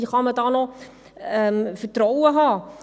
Wie kann man da noch Vertrauen haben?